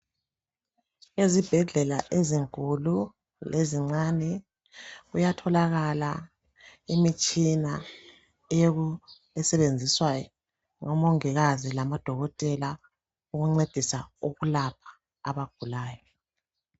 Ezibhedlela ezinkulu lezincane kuyatholakala imitshina esebenziswa ngomongikazi lamadokotela ukuncedisa ukulapha abagulayo.